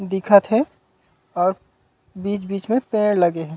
दिखत हे अऊ बीच -बीच में पेड़ लगे हे।